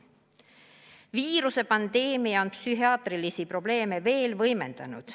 Viirusepandeemia on psühhiaatrilisi probleeme veel võimendanud.